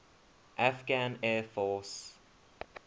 afghan air force